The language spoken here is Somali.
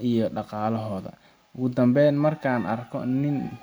iyo dhaqaalahooda. Ugu dambayn, marka aan arko nin.